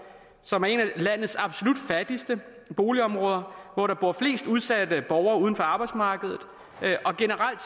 som er et af landets absolut fattigste boligområder hvor der bor flest udsatte borgere uden for arbejdsmarkedet og generelt